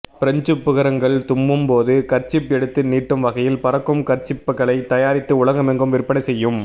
பிரெஞ்சுப் பிகருங்கள் தும்மும் போது கர்சிப் எடுத்து நீட்டும் வகையில் பறக்கும் கர்ச்சிப்களைத் தயாரித்தும் உலகமெங்கும் விற்பனை செய்யும்